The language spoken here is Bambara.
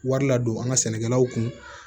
Wari la don an ka sɛnɛkɛlaw kun